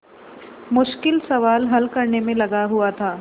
मुश्किल सवाल हल करने में लगा हुआ था